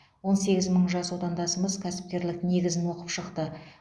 он сегіз мың жас отандасымыз кәсіпкерлік негізін оқып шықты